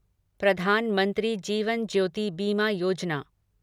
प्रधानमंत्री जीवन ज्योति बीमा योजना